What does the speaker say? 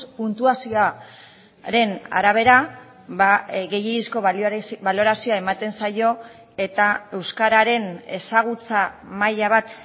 puntuazioaren arabera gehiegizko balorazioa ematen zaio eta euskararen ezagutza maila bat